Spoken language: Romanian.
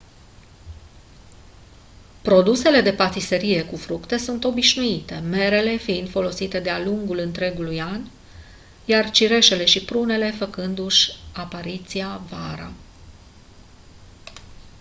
produsele de patiserie cu fructe sunt obișnuite merele fiind folosite de-a lungul întregului an iar cireșele și prunele făcându-și apariția vara